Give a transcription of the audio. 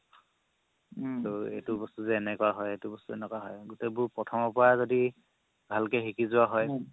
এইটো বস্তু যে এনেকুৱা হয়, এইটো বস্তু যে এনেকুৱা হয় গুতেই বস্তু প্ৰথৰ পা যদি ভালকে শিকি যোৱা হয়